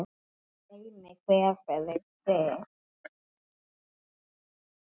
Dæmi hver fyrir sig.